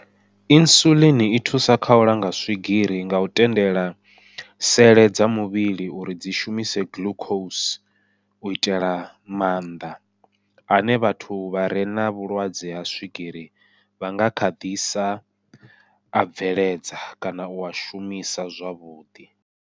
Insulin i thusa kha u langa swigiri ngau tendela sele dza muvhili uri dzi shumise glucose u itela maanḓa ane vhathu vha re na vhulwadze ha swigiri vha nga kha ḓisa a bveledza kana ua shumisa zwavhuḓi.